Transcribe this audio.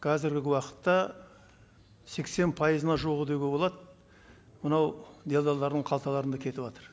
қазіргі уақытта сексен пайызына жуығы деуге болады мынау делделдардың қалталарында кетіватыр